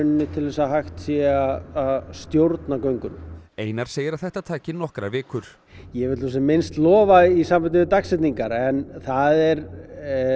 til þess að hægt sé að stjórna göngunum einar segir að þetta taki nokkrar vikur ég vil nú sem minnst lofa í sambandi við dagsetningar en það er